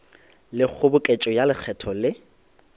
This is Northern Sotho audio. le kgoboketšo ya lekgetho le